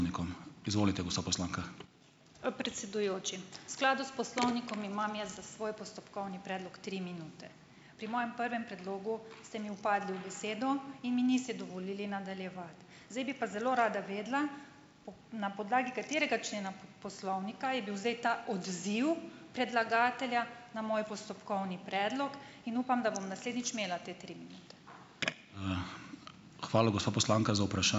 Predsedujoči, v skladu s poslovnikom imam jaz za svoj postopkovni predlog tri minute. Pri mojem prvem predlogu ste mi vpadli v besedo in mi niste dovolili nadaljevati. Zdaj bi pa zelo rada vedela, na podlagi katerega člena poslovnika je bil zdaj ta odziv predlagatelja na moj postopkovni predlog. In upam, da bom naslednjič imela te tri minute.